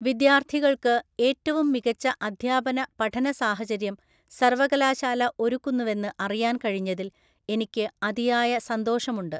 വിദ്യാർത്ഥികള്‍ക്ക് ഏറ്റവും മികച്ച അദ്ധ്യാപന പഠന സാഹചര്യം സര്‍വകലാശാല ഒരുക്കുന്നുവെന്ന് അറിയാന്‍ കഴിഞ്ഞതില്‍ എനിക്ക് അതിയായ സന്തോഷമുണ്ട്.